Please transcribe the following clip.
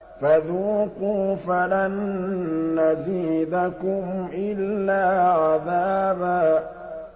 فَذُوقُوا فَلَن نَّزِيدَكُمْ إِلَّا عَذَابًا